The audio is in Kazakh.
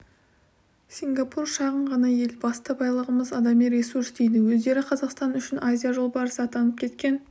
сингапур шағын ғана ел басты байлығымыз адами ресурс дейді өздері қазақстан үшін азия жолбарысы атанып кеткен